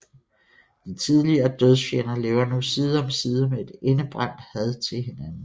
De tidligere dødsfjender lever nu side om side med et indebrændt had til hinanden